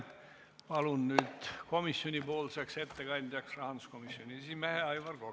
Palun komisjoni ettekandjaks rahanduskomisjoni esimehe Aivar Koka.